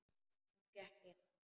Hún gekk inn.